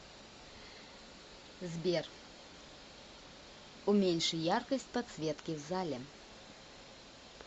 сбер уменьши яркость подсветки в зале